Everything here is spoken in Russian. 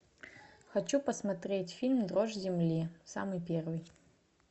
хочу посмотреть фильм дрожь земли самый первый